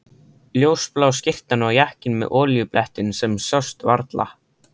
Ljósblá skyrtan og jakkinn með olíublettinum sem sást varla.